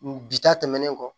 Bi ta tɛmɛnen kɔ